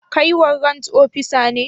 Kai warrant opisa ne?